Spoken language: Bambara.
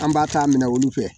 An b'a ta minɛ olu fɛ